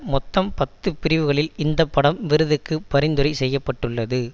மொத்தம் பத்து பிரிவுகளில் இந்த படம் விருதுக்கு பரிந்துரை செய்ய பட்டுள்ளது